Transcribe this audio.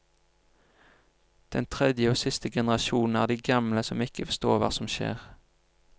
Den tredje og siste generasjonen er de gamle som ikke forstår hva som skjer.